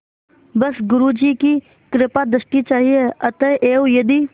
बस गुरु जी की कृपादृष्टि चाहिए अतएव यदि